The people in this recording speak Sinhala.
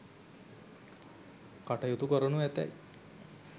කටයුතු කරනු ඇතැයි